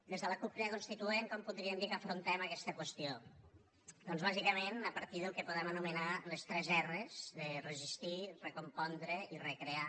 des de la cup crida constituent com podríem dir que afrontem aquesta qüestió doncs bàsicament a partir del que podem anomenar les tres erres de resistir recompondre i recrear